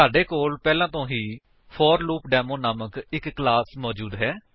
ਸਾਡੇ ਕੋਲ ਪਹਿਲਾਂ ਤੋ ਹੀ ਫੋਰਲੂਪਡੇਮੋ ਨਾਮਕ ਇੱਕ ਕਲਾਸ ਮੌਜੂਦ ਹੈ